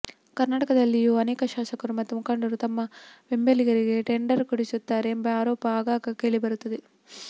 ಕರ್ನಾಟಕದಲ್ಲಿಯೂ ಅನೇಕ ಶಾಸಕರು ಮತ್ತು ಮುಖಂಡರು ತಮ್ಮ ಬೆಂಬಲಿಗರಿಗೆ ಟೆಂಡರ್ ಕೊಡಿಸುತ್ತಾರೆ ಎಂಬ ಆರೋಪ ಆಗಾಗ ಕೇಳಿ ಬರುತ್ತದೆ